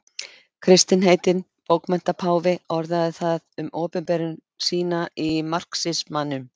Kristinn heitinn bókmenntapáfi orðaði það um opinberun sína í marxismanum.